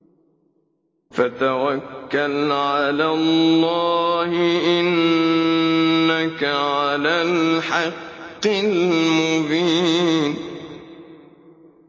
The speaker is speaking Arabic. فَتَوَكَّلْ عَلَى اللَّهِ ۖ إِنَّكَ عَلَى الْحَقِّ الْمُبِينِ